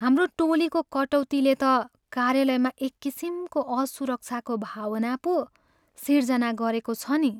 हाम्रो टोलीको कटौतीले त कार्यालयमा एककिसिमको असुरक्षाको भावना पो सिर्जना गरेको छ नि।